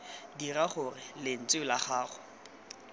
dira gore lentswe la gago